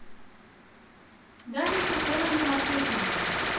дарья хусеновна матвейченко